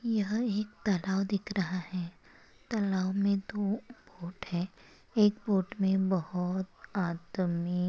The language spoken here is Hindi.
यहा एक तलाव दिख रहा है तलाव मे दो बोट है एक बोट मे बहुत आदमी--